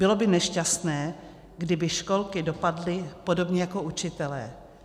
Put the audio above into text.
Bylo by nešťastné, kdyby školky dopadly podobně jako učitelé.